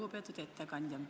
Lugupeetud ettekandja!